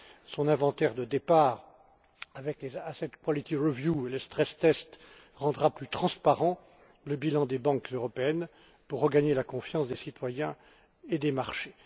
Son inventaire de départ, avec les asset quality review et les stress tests rendra plus transparent le bilan des banques européennes en vue de regagner la confiance des citoyens et des marchés.